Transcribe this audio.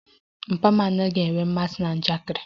Papa m anaghị enwe mmasị na njakịrị